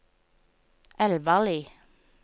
Elvarli